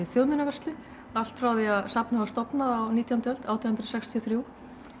þjóðminjavörslu allt frá því að safnið var stofnað á nítjándu öld átján hundruð sextíu og þrjú